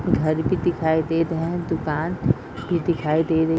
घर भी दिखाई देत हैं दुकान भी दिखाई दे रहे --